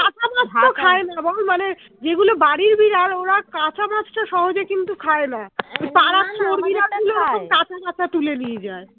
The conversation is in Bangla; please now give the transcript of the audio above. কাঁচা বল মানে যেগুলো বাড়ির বিড়াল ওরা কাঁচা মাছ টা সহজে কিন্তু খায় না কাঁচা কাঁচা তুলে নিয়ে যায়